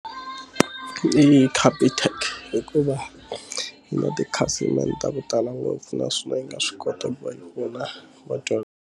Hi Capitec hikuva yi na tikhasimende ta ku tala ngopfu naswona yi nga swi kota ku va yi pfuna .